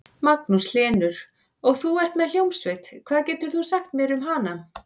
Magnús Hlynur: Og þú ert með hljómsveit, hvað getur þú sagt mér um hana?